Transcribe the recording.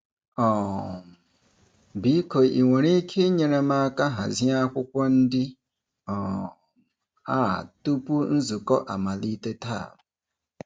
um Biko i nwere ike inyere m aka hazie akwụkwọ ndị um a tupu nzukọ amalite taa?